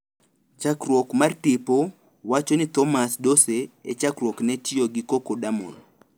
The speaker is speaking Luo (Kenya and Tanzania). Chakruok mar tipo wacho ni Thomas Dowse e chakruok ne otiyo gi Co- codamol.